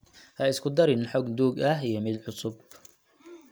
Ha isku darin xog duug ah iyo mid cusub.